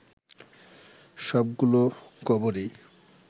সবগুলো কবরই